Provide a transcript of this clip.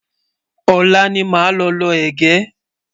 olá ní má ló ló ẹgẹ